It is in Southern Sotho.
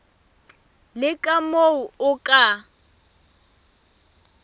le ka moo o ka